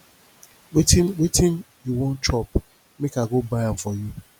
wetin wetin you wan chop make i go buy am for you